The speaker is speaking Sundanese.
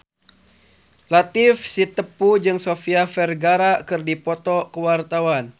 Latief Sitepu jeung Sofia Vergara keur dipoto ku wartawan